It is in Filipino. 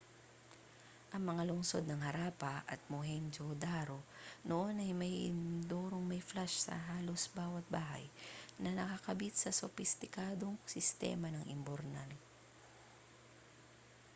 ang mga lungsod ng harappa at mohenjo-daro noon ay may inodorong may flush sa halos bawat bahay na nakakabit sa sopistikadong sistema ng imburnal